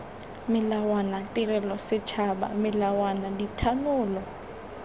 melawana tirelo setšhaba melawana dithanolo